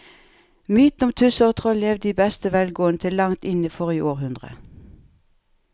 Mytene om tusser og troll levde i beste velgående til langt inn i forrige århundre.